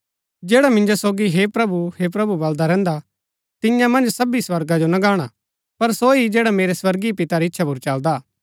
जैडा मिन्जो सोगी हे प्रभु हे प्रभु बलदा रैहन्दा तियां मन्ज सबी स्वर्गा जो ना गाणा पर सो ही जैडा मेरै स्वर्गीय पिता री इच्छा पुर चलदा हा